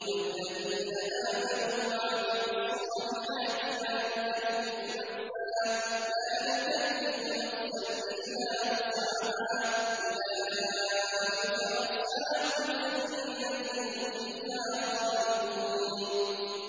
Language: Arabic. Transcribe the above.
وَالَّذِينَ آمَنُوا وَعَمِلُوا الصَّالِحَاتِ لَا نُكَلِّفُ نَفْسًا إِلَّا وُسْعَهَا أُولَٰئِكَ أَصْحَابُ الْجَنَّةِ ۖ هُمْ فِيهَا خَالِدُونَ